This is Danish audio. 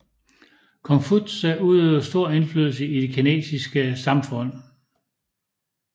Konfutse udøvede stor indflydelse i det kinesiske samfund